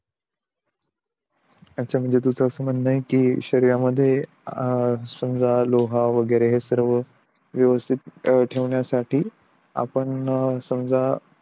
अच्छा म्हणे तुझं असं म्हणणं आहे कि शरीर मध्ये समझा लोह वैगेरे सर्व व्यवस्थित ठेवण्यासाठी आपण समझा